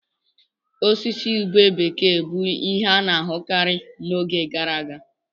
Osisi ube bekee bụ ihe a na-ahụkarị n'oge gara aga.